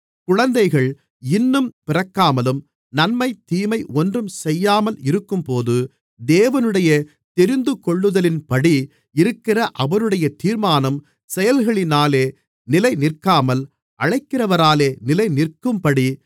குழந்தைகள் இன்னும் பிறக்காமலும் நன்மை தீமை ஒன்றும் செய்யாமல் இருக்கும்போது தேவனுடைய தெரிந்துகொள்ளுதலின்படி இருக்கிற அவருடைய தீர்மானம் செயல்களினாலே நிலைநிற்காமல் அழைக்கிறவராலே நிலைநிற்கும்படி